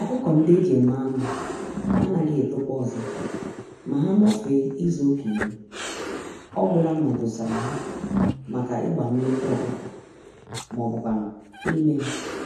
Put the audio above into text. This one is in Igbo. ọkụkọ-ndị-eji-eme-anụ anaghị etokwa ọzọ ma ha nọfee izuka iri, ọgwụla ma edosara ha màkà ịgba nnekwu ọkụkọ m'obu kwánụ ímé